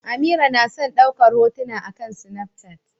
Amira na son daukar hotuna akan Snapchat.